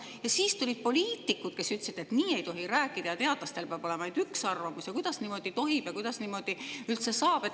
Ja siis tulid poliitikud, kes ütlesid, et nii ei tohi rääkida, teadlastel peab olema ainult üks arvamus, kuidas niimoodi tohib ja kuidas niimoodi üldse saab.